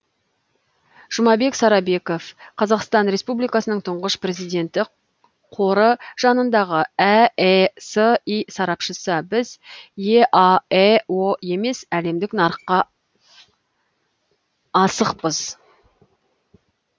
жұмабек сарабеков қазақстан республикасының тұңғыш президенті қоры жанындағы әэси сарапшысы біз еаэо емес әлемдік нарыққа ашықпыз